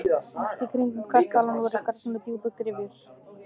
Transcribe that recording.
Allt í kringum kastalann voru grafnar djúpar gryfjur.